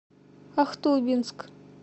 ахтубинск